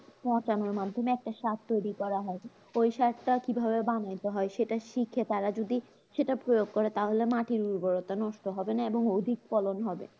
পচানোর মাধ্যমে একটা সার তৈরি করা হয়, ওই সারটা কি ভাবে বানাতে হয়? সেটা শিখে তার যদি সেটা প্রয়োগ করে তাহলে মাটির উর্বরতা নষ্ট হবে না এবং অধিক ফলন হবে